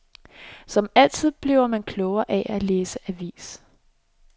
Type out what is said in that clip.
Som altid bliver man klogere af at læse avis.